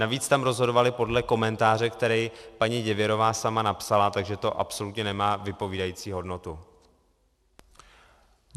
Navíc tam rozhodovali podle komentáře, který paní Děvěrová sama napsala, takže to absolutně nemá vypovídající hodnotu.